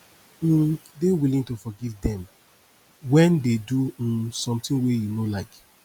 um dey willing to forgive dem when dey do um something wey you no like